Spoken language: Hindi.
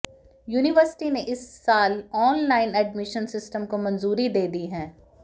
यूनिवर्सिटी ने इस साल ऑनलाइन एडमिशन सिस्टम को मंजूरी दे दी है